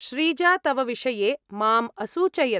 श्रीजा तव विषये माम् असूचयत्।